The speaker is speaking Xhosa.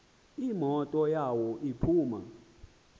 imoto yawo iphuma